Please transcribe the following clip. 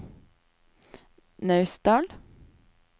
Naustdal